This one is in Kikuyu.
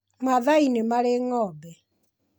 Maathai nĩ marĩ ng'ombe.